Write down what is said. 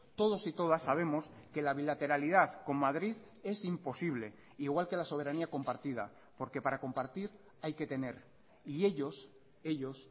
todos y todas sabemos que la bilateralidad con madrid es imposible igual que la soberanía compartida porque para compartir hay que tener y ellos ellos